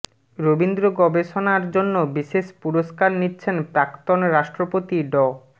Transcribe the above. রবীন্দ্র গবেষণার জন্য বিশেষ পুরষ্কার নিচ্ছেন প্রাক্তন রাষ্ট্রপতি ড